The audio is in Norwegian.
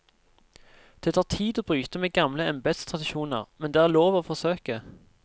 Det tar tid å bryte med gamle embedstradisjoner, men det er lov å forsøke.